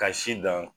Ka si dan